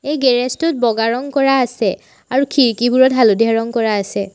এই গেৰেজ টোত বগা ৰঙ কৰা আছে। আৰু খিৰিকীবোৰত হালধীয়া ৰঙ কৰা আছে।